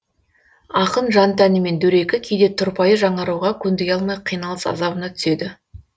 ақын жан тәнімен дөрекі кейде тұрпайы жаңаруға көндіге алмай қиналыс азабына түседі